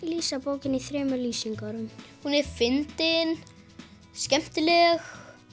lýsa bókinni í þremur lýsingarorðum hún fyndin skemmtileg